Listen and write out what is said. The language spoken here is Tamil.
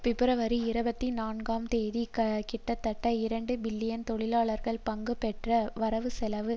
பிப்ரவரி இருபத்தி நான்காம் தேதி கிட்டத்தட்ட இரண்டு மில்லியன் தொழிலாளர்கள் பங்கு பெற்ற வரவுசெலவு